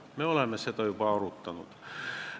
Me oleme seda juba arutanud.